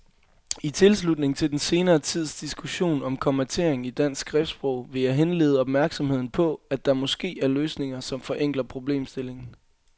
I tilslutning til den senere tids diskussion om kommatering i dansk skriftsprog vil jeg henlede opmærksomheden på, at der måske er løsninger, som forenkler problemstillingen.